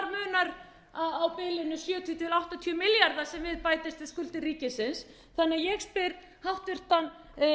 munar á bilinu sjötíu til áttatíu milljarðar sem við bætist við skuldir ríkisins þannig að ég spyr háttvirtan